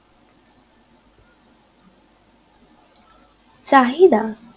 চাহিদা